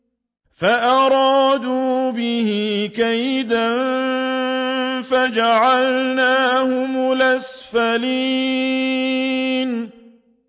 فَأَرَادُوا بِهِ كَيْدًا فَجَعَلْنَاهُمُ الْأَسْفَلِينَ